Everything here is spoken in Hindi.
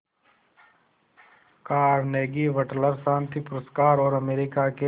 कार्नेगी वटलर शांति पुरस्कार और अमेरिका के